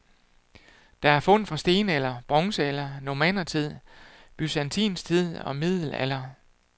Der er fund fra stenalder, bronzealder, normannertid, byzantinsk tid og middelalder.